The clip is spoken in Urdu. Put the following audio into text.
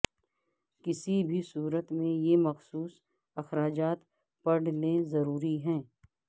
کسی بھی صورت میں یہ مخصوص اخراجات پڑ لئے ضروری ہے